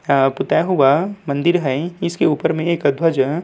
आ पुताई हुआ मंदिर हैं इसके ऊपर में एक ध्वज।